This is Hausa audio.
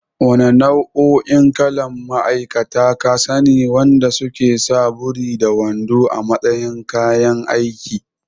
Wanna nau'o'in kalan ma'aikata ka sani wanda suke sa buri da wando a matsayin kayan aiki?